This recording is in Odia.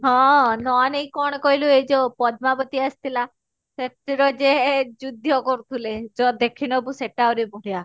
ହଁ ନେଇକି ଏଇ କଣ କହିଲୁ ଏଇ ଯଉ ପଦ୍ମାବତୀ ଆସିଥିଲା ସେଥିର ଯେ ଯୁଧ୍ୟ କରୁଥିଲେ ଯା ଦେଖିନବୁ ସେଟା ଆହୁରି ବଢିଆ